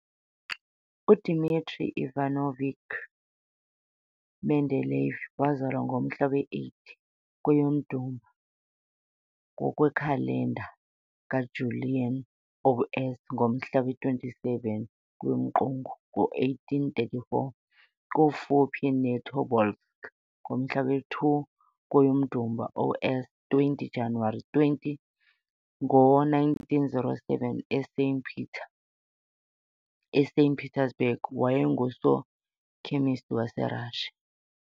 u-Dmitry Ivanovich Mendeleyev, wazalwa ngomhla wesi-8 kweyoDumba, ngokwekhalenda ka-Julian O.S. ngomhla wama-27 kweyomQungu, ngo-1834 kufuphi ne-Tobolsk - ngomhla wesi-2 kweyomDumba O.S. 20 January 20, ngo-1907 e-Saint Peter eSaint Petersburg, wayengusokhemesti wase-Russia.